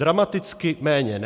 Dramaticky méně ne.